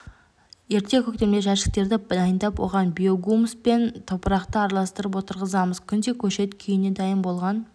ерте көктемде жәшіктерді дайындап оған биогумус пен топырақты араластырып отырғызамыз күнде көшет күйіне дайын болған